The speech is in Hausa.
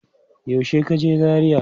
Yaushe ka je Zaria?